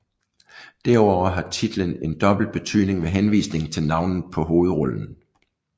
Derudover har titlen en dobbelt betydning med henvisningen til navnet på hovedrollen